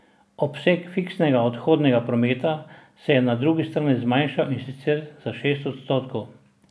Obseg fiksnega odhodnega prometa se je na drugi strani zmanjšal, in sicer za šest odstotkov.